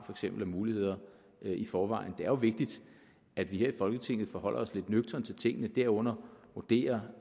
af muligheder i forvejen det er jo vigtigt at vi her i folketinget forholder os lidt nøgternt til tingene herunder vurderer